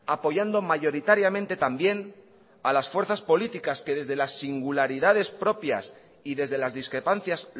apoyando mayoritariamente también a las fuerzas políticas que desde las singularidades propias y desde las discrepancias